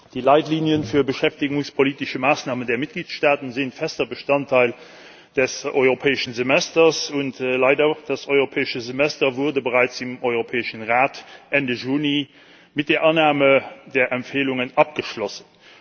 Die Leitlinien für beschäftigungspolitische Maßnahmen der Mitgliedstaaten sind fester Bestandteil des Europäischen Semesters. Leider wurde das Europäische Semester bereits im Europäischen Rat Ende Juni mit der Annahme der Empfehlungen abgeschlossen.